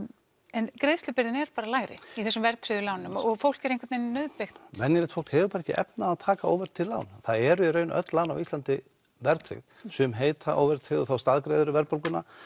en greiðslubyrðin er bara lægri í þessum verðtryggðu lánum og fólk er einhvern vegin nauðbeygt venjulegt fólk hefur bara ekki efni á því að taka óverðtryggð lán það eru í raun öll lán á Íslandi verðtryggð sum heita óverðtryggð og þá staðgreiðir þú verðbólguna